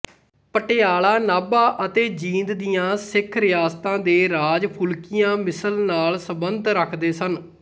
ਪਟਿਆਲਾ ਨਾਭਾ ਅਤੇ ਜੀਂਦ ਦੀਆਂ ਸਿੱਖ ਰਿਆਸਤਾਂ ਦੇ ਰਾਜ ਫੂਲਕੀਆਂ ਮਿਸਲ ਨਾਲ ਸੰਬੰਧ ਰੱਖਦੇ ਸਨ